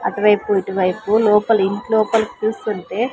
అటువైపు ఇటువైపు లోపల ఇంట్లో పలికి చూస్తుంటే.